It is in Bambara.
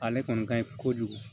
Ale kɔni ka ɲi kojugu